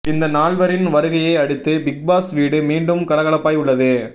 இந்த நால்வரின் வருகையை அடுத்து பிக்பாஸ் வீடு மீண்டும் கலகலப்பாய் உள்ளது